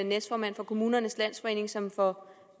næstformand for kommunernes landsforening som for